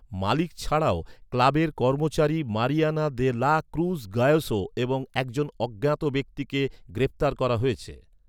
মালিক ছাড়াও, ক্লাবের কর্মচারী Mariana de la Cruz Gayoso এবং একজন অজ্ঞাত ব্যক্তিকে গ্রেপ্তার করা হয়েছে।